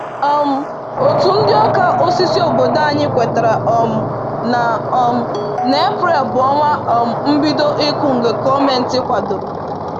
um Òtù ndị ọka osisi obodo anyị kwetara um na um na Eprel bụ ọnwa um mbido ịkụ nke gọọmenti kwadoro